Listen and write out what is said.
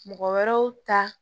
Mɔgɔ wɛrɛw ta